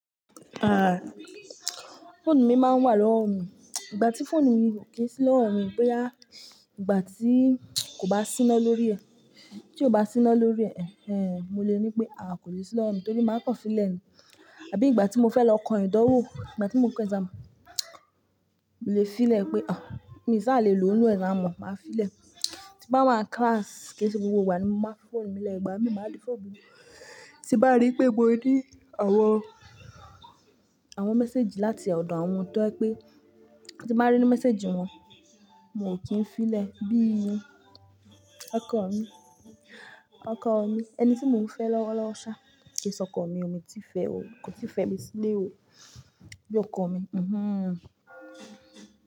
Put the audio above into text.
Àa, fóònù mi máa ń wà lọ́wọ́ mi. Ìgbà tí fóònù mi kò sí lọ́wọ́ mi, bóyá ìgbà tí kò bá síná lórí ẹ̀, tí kò bá síná lórí ẹ̀, mo lè ní pé àwa kò lè sí lọ́wọ́ mi torí máa pọ̀ sílẹ̀ ni. Àbí ìgbà tí mo fẹ́ lọ kọ́ ìdánwò, ìgbà tí mo ń kọ́ exam, mo lè filẹ̀ pé, mi sá lè lò ó ní exam hall, màá filẹ̀. Tí bá wà ní class, kí ṣe gbogbo ìgbà ni mo máa fi fóònù mi lẹ́, ìgbà mi, máa dí fóònù mú. Tí bá rí pé mo ní àwọn, àwọn message láti ọ̀dọ̀ àwọn tó ẹ pé, tí bá rí message wọn, mo kí n filẹ̀ bí i ọkọ̀ mi, ọkọ̀ mi, ẹni tí mo ń fẹ́ lọ́wọ́lọ́wọ́ ṣá, kì í ṣe ọkọ mi, mi ò tí fẹ́ o, kò tí fẹ́ mi sílé o, bí ọkọ mi.